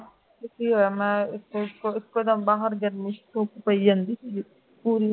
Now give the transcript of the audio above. ਕੀ ਹੋਇਆ ਮੈਂ ਬਾਹਰ ਇਕਦਮ ਗਰਮੀ ਚ ਧੁੱਪ ਪਈ ਜਾਂਦੀ ਸੀ ਗੀ